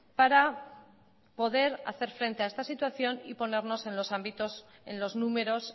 para poder hacer frente a esta situación y ponernos en los ámbitos en los números